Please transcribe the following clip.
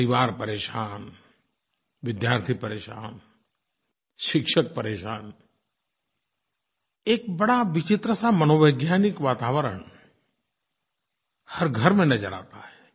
परिवार परेशान विद्यार्थी परेशान शिक्षक परेशान एक बड़ा विचित्र सा मनोवैज्ञानिक वातावरण हर घर में नज़र आता है